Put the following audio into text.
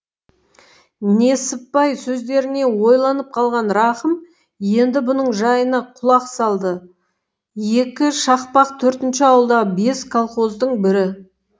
несіпбай сөздеріне ойланып қалған рақым енді бұның жайына құлақ салды екі шақпақ төртінші ауылдағы бес колхоздың бірі